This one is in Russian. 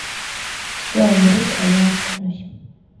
все умрут а я останусь